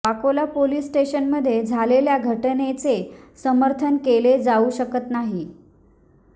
Vakola police स्टेशनमध्ये झालेल्या घटनेचे समर्थन केले जाऊ शकत नाही